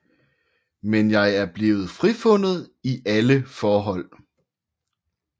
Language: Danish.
Men jeg er blevet frifundet i alle forhold